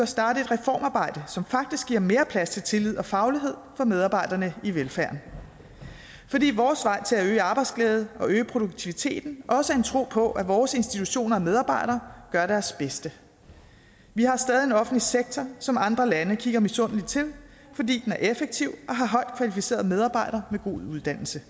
starte et reformarbejde som faktisk giver mere plads til tillid og faglighed for medarbejderne i velfærden fordi vores vej til at øge arbejdsglæde og øge produktiviteten også er en tro på at vores institutioner og medarbejdere gør deres bedste vi har stadig en offentlig sektor som andre lande kigger misundeligt til fordi den er effektiv og har højt kvalificerede medarbejdere med god uddannelse